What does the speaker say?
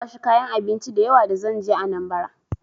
Na kwashi kayan abinci da yawa da zan je Anambra.